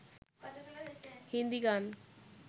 হিন্দি গান